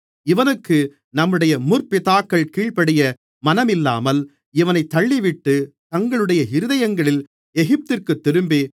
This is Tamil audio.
இவனுக்கு நம்முடைய முற்பிதாக்கள் கீழ்ப்படிய மனமில்லாமல் இவனைத் தள்ளிவிட்டு தங்களுடைய இருதயங்களில் எகிப்துக்குத் திரும்பி